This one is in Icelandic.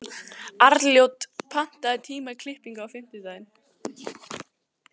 Arnljót, pantaðu tíma í klippingu á fimmtudaginn.